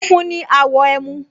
Funfun ni àwọ̀ ẹmu